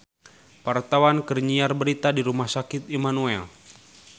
Wartawan keur nyiar berita di Rumah Sakit Immanuel